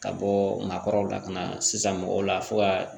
Ka bɔ maakɔrɔw la ka na sisan mɔgɔw la fo ka